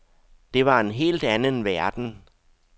Det var en helt anden verden.